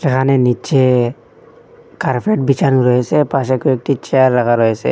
এহানে নিচে কার্পেট বিছানো রয়েছে পাশে কয়েকটি চেয়ার রাখা রয়েছে।